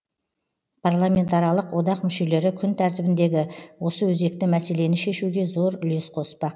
парламентаралық одақ мүшелері күн тәртібіндегі осы өзекті мәселені шешуге зор үлес қоспақ